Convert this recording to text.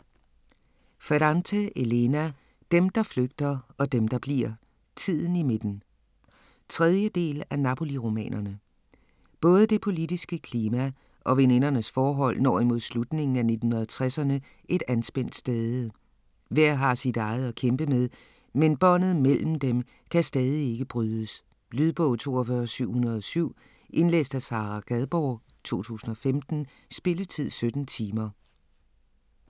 Ferrante, Elena: Dem der flygter og dem der bliver: tiden i midten 3. del af Napoli-romanerne. Både det politiske klima og venindernes forhold når imod slutningen af 1960'erne et anspændt stade. Hver har sit eget at kæmpe med, men båndet mellem dem kan stadig ikke brydes. Lydbog 42707 Indlæst af Sara Gadborg, 2015. Spilletid: 17 timer, 0 minutter.